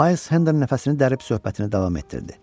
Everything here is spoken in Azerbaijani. Mayles Hendon nəfəsini dərib söhbətini davam etdirdi.